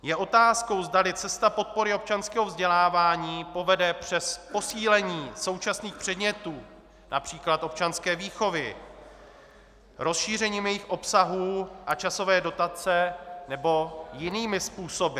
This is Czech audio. Je otázkou, zdali cesta podpory občanského vzdělávání povede přes posílení současných předmětů, například občanské výchovy, rozšířením jejich obsahů a časové dotace, nebo jinými způsoby.